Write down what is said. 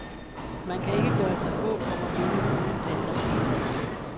Man kan ikke gøre sig håb om at vinde uden angrebsfodbold.